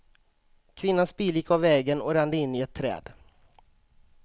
Kvinnans bil gick av vägen och rände in i ett träd.